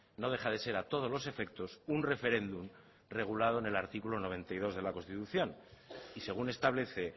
no deja de ser a todos los efectos un referendum regulado en el artículo noventa y dos de la constitución y según establece